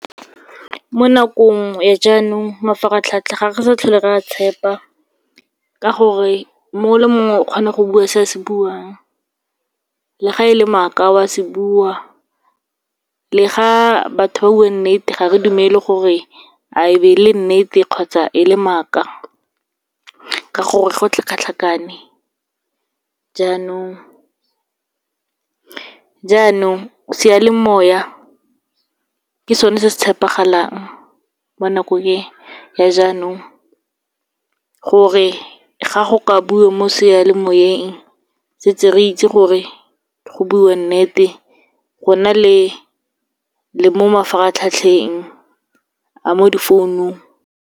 Mo nakong ya jaanong, mafaratlhatlha ga re sa tlhole re a tshepa, ka gore mongwe le mongwe o kgona go bua se a se buang, le ga e le maaka o a se bua, le ga batho ba bua nnete ga re dumele gore a e be e le nnete kgotsa e le maaka, ka gore go tlhakatlhakane. Jaanong, seyalemoya ke sone se se tshepegalang mo nakong e ya jaanong, gore ga go ka buiwa mo sealemoyeng setse re itse gore go bua nnete, go na le mo mafaratlhatlheng a mo difounung.